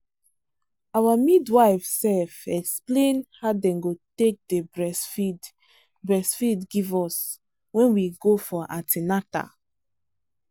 our midwife sefexplain how them take day breastfeed breastfeed give us when we go for an ten atal.